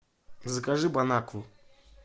закажи бонакву